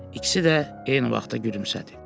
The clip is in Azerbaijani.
İkisi də eyni vaxtda gülümsədi.